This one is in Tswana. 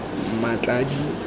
mmatladi